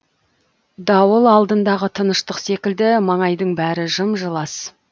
дауыл алдындағы тыныштық секілді маңайдың бәрі жым жылас